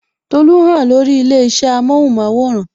Tolu hàn lórí ilé isẹ amohun maworan